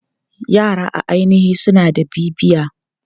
Yara a ainihi suna da bibiya.